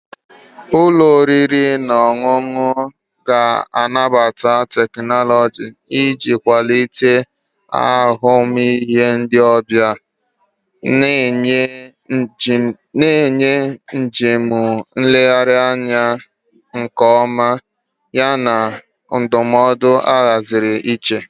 Ụlọ oriri na ọṅụṅụ ga-anabata teknụzụ iji kwalite ahụmịhe ndị ọbịa, na-enye njem nlegharị anya nke ọma yana ndụmọdụ ahaziri iche.